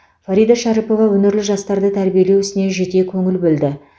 фарида шәріпова өнерлі жастарды тәрбиелеу ісіне жете көңіл бөлді